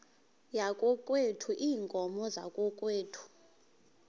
yakokwethu iinkomo zakokwethu